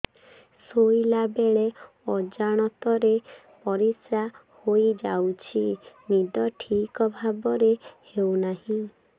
ଶୋଇଲା ବେଳେ ଅଜାଣତରେ ପରିସ୍ରା ହୋଇଯାଉଛି ନିଦ ଠିକ ଭାବରେ ହେଉ ନାହିଁ